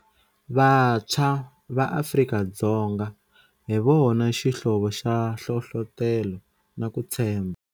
Vantshwa va Afrika-Dzonga hi vona xihlovo xa nhlohlotelo na ku tshembha.